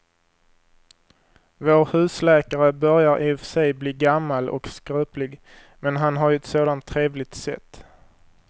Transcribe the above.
Vår husläkare börjar i och för sig bli gammal och skröplig, men han har ju ett sådant trevligt sätt!